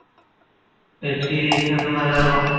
Web series